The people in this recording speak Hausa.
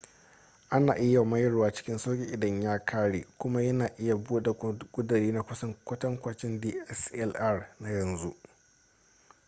ana iya mayarwa cikin sauki idan ya kare kuma yana iya bada ƙuduri na kusan kwatankwacin dslr na yanzu